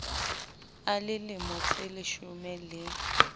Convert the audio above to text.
a le lemo tseleshome le